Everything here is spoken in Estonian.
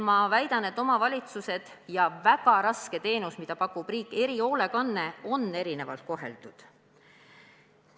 Ma väidan, et omavalitsused ja väga raske teenus, mida pakub riik, erihoolekanne, on erinevalt koheldud.